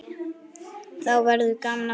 Þá verður gaman aftur.